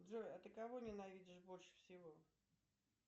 джой а ты кого ненавидишь больше всего